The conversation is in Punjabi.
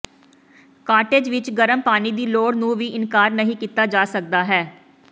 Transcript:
ਕਾਟੇਜ ਵਿਚ ਗਰਮ ਪਾਣੀ ਦੀ ਲੋੜ ਨੂੰ ਵੀ ਇਨਕਾਰ ਨਹੀ ਕੀਤਾ ਜਾ ਸਕਦਾ ਹੈ